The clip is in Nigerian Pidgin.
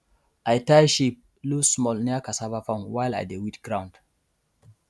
i tie sheep loosesmall near cassava farm while i dey weed ground